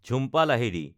Jhumpa Lahiri